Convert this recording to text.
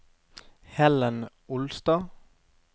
Helen Olstad